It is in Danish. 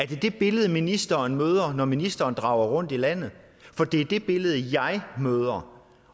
det det billede ministeren møder når ministeren drager rundt i landet for det er det billede jeg møder